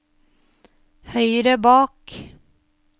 høyre bak